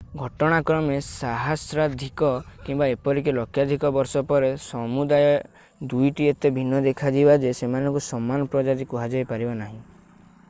ଘଟଣାକ୍ରମେ ସହସ୍ରାଧିକ କିମ୍ବା ଏପରିକି ଲକ୍ଷାଧିକ ବର୍ଷ ପରେ ସମୁଦାୟ ଦୁଇଟି ଏତେ ଭିନ୍ନ ଦେଖାଯିବେ ଯେ ସେମାନଙ୍କୁ ସମାନ ପ୍ରଜାତି କୁହାଯାଇପାରିବ ନାହିଁ